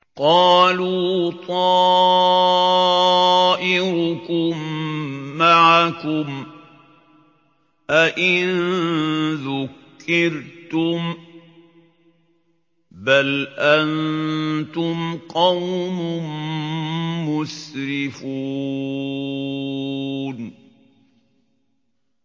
قَالُوا طَائِرُكُم مَّعَكُمْ ۚ أَئِن ذُكِّرْتُم ۚ بَلْ أَنتُمْ قَوْمٌ مُّسْرِفُونَ